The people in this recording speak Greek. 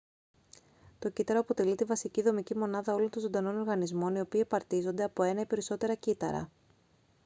το κύτταρο αποτελεί τη βασική δομική μονάδα όλων των ζωντανών οργανισμών οι οποίοι απαρτίζονται από ένα ή περισσότερα κύτταρα